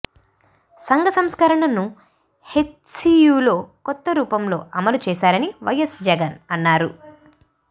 సంఘ బహిష్కరణను హెచ్సియులో కొత్త రూపం లో అమలు చేశారని వైఎస్ జగన్ అన్నారు